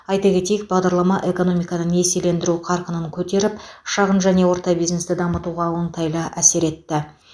айта кетейік бағдарлама экономиканы несиелендіру қарқынын көтеріп шағын және орта бизнесті дамытуға оңтайлы әсер етті